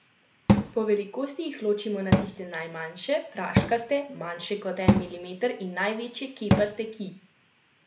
Po velikosti jih ločimo na tiste najmanjše, praškaste, manjše kot en milimeter, in največje kepaste, ki presegajo pet centimetrov.